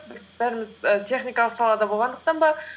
бәріміз і техникалық салада болғандықтан ба